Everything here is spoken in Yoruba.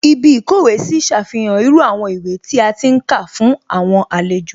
Ibí ìkówèé sí ṣàfihàn irú àwọn ìwé tí a ti ń kà fún àwọn àlejò